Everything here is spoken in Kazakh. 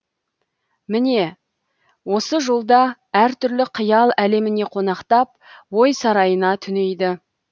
міне осы жолда әртүрлі қиял әлеміне қонақтап ой сарайына түнейді